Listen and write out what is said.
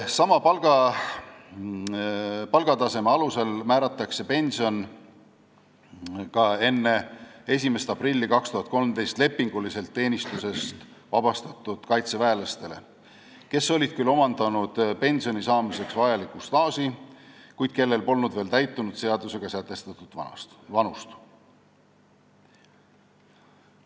Sama palgataseme alusel määratakse pension ka enne 1. aprilli 2013 lepingulisest teenistusest vabastatud kaitseväelastele, kes olid küll omandanud pensioni saamiseks vajaliku staaži, kuid kellel polnud seadusega sätestatud vanus veel täitunud.